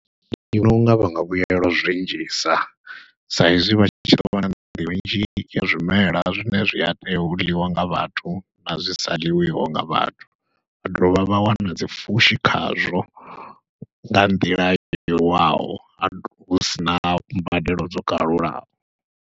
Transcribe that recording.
Ndi vhona unga vha nga vhuyelwa zwinzhisa sa izwi vha tshi tou vha na minzhi ya zwimela zwine zwi a tea u ḽiwa nga vhathu, na zwi sa ḽiwiho nga vhathu, vha dovha vha wana dzipfhushi khazwo nga nḓila yowaho husina mbadelo dzo kalulaho.